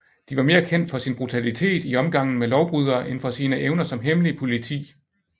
De var mere kendt for sin brutalitet i omgangen med lovbrydere end for sine evner som hemmelig politi